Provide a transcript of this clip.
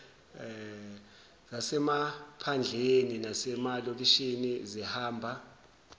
zasemaphandleni nasemalokishini zihamba